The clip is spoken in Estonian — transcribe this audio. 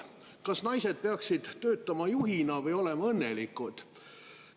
Kas naised peaksid töötama juhina või olema õnnelikud?